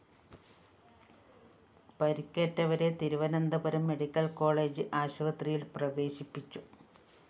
പരിക്കേറ്റവരെ Thiruvananthapuram medical college ആശുപത്രിയില്‍ പ്രവേശിപ്പിച്ചു